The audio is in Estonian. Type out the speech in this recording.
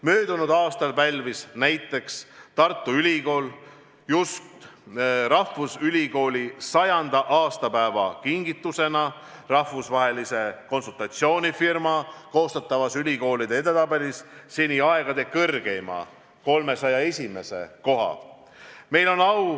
Möödunud aastal pälvis näiteks Tartu Ülikool just rahvusülikooli 100. aastapäeva kingitusena rahvusvahelise konsultatsioonifirma koostatavas ülikoolide edetabelis seni aegade kõrgeima, 301. koha.